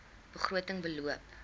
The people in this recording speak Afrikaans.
begroting beloop